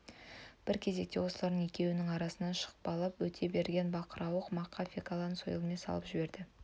бір кезекте осылардың екеуінің арасынан шапқылап өте берген бақырауық мақа фекланы сойылмен салып жіберді